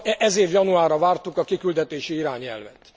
Ez év januárra vártuk a kiküldetési irányelvet.